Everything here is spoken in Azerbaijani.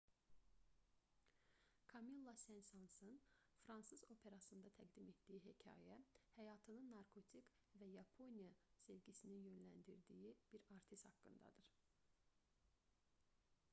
kamilla sen-sansın fransız operasında təqdim etdiyi hekayə həyatını narkotik və yaponiya sevgisinin yönləndirdiyi bir artist haqqındadır